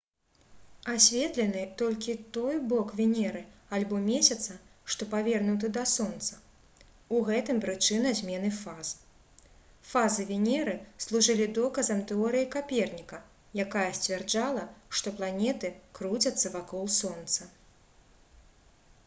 асветлены толькі той бок венеры альбо месяца што павернуты да сонца — у гэтым прычына змены фаз. фазы венеры служылі доказам тэорыі каперніка якая сцвярджала што планеты круцяцца вакол сонца